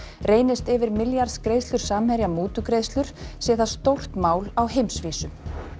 reynist yfir milljarðs greiðslur Samherja mútugreiðslur sé það stórt mál á heimsvísu